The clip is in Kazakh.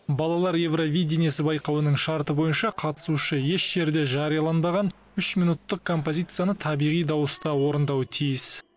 балалар евровидинясы байқауының шарты бойынша қатысушы еш жерде жарияланбаған үш минуттық композицияны табиғи дауыста орындауы тиіс